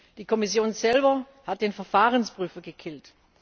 Die Kommission selbst hat den Verfahrensprüfer gekillt.